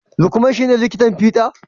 Lukman ci ne likitan fida?